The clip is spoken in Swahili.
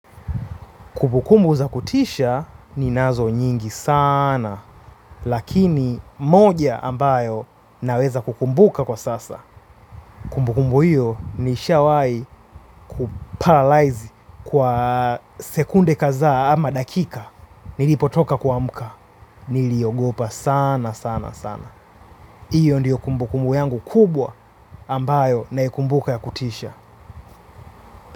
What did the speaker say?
Kumbukumbu za kutisha ninazo nyingi sana, lakini moja ambayo naweza kukumbuka kwa sasa. Kumbukumbu hiyo niishawai kuparalyze kwa sekunde kazaa ama dakika. Nilipotoka kuamka, niliogopa sana sana sana. Iyo ndiyo kumbukumbu yangu kubwa ambayo naikumbuka ya kutisha.